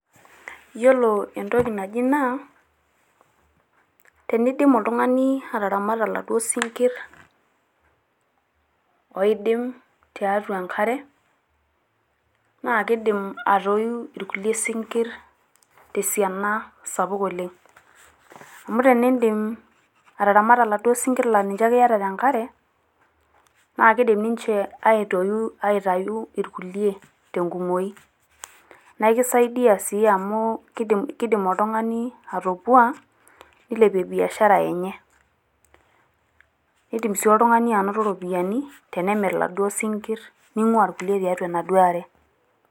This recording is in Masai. Yiolo entoki naji naa , teneidim oltung`ani ataramata laduo sinkirr oidim tiatua enkare naa keidim atoiu irkulie sinkirr te siana sapuk oleng. Amu tenidim ataramata iladuo sinkirr laa ninche ake iyata te nkare naa kidim ninche aitayu irkulie te nkumoi naa ekisaidia sii amu keidim oltung`ani atopua neilepie biashara enye. Keidim sii oltung`ani anoto irropiyiani tenemirr iladuo sinkirr neing`ua irkulie tiatua enaduo are.